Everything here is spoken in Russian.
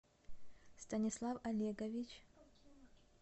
станислав олегович